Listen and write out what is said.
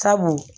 Sabu